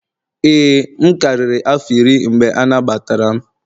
ee, m karịrị afọ iri mgbe anagbatara m.